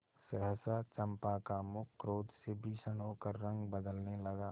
सहसा चंपा का मुख क्रोध से भीषण होकर रंग बदलने लगा